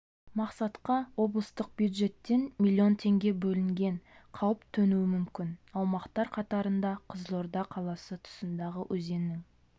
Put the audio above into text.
мақсатқа облыстық бюджеттен млн теңге бөлінген қауіп төнуі мүмкін аумақтар қатарында қызылорда қаласы тұсындағы өзеннің